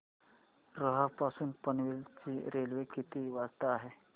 रोहा पासून पनवेल ची रेल्वे किती वाजता आहे